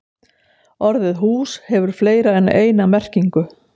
Orðið hús hefur fleiri en eina merkingu.